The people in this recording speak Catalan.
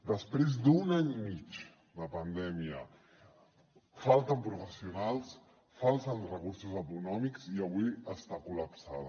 després d’un any i mig de pandèmia falten professionals falten recursos econòmics i avui està col·lapsada